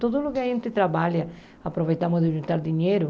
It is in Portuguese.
Tudo o que a gente trabalha, aproveitamos para juntar dinheiro.